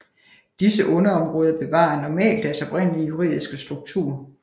Disse underområder bevarer normalt deres oprindelige juridiske struktur